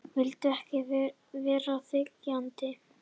Vildi ekki vera þiggjandi.